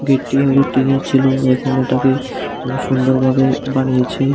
এটি হয়তো টিনের ছিল এখন এটাকে অনেক সুন্দর ভাবে বানিয়েছে।